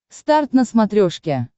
старт на смотрешке